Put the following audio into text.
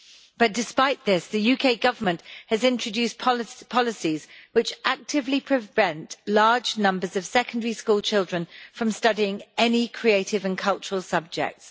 But despite this, the UK Government has introduced policies which actively prevent large numbers of secondary school children from studying any creative and cultural subjects.